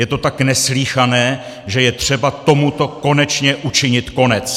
Je to tak neslýchané, že je třeba tomuto konečně učinit konec!